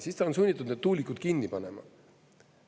Siis ta on sunnitud need tuulikud kinni panema.